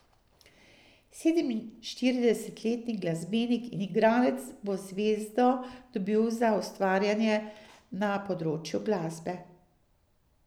Sedeminštiridesetletni glasbenik in igralec bo zvezdo dobil za ustvarjanje na področju glasbe.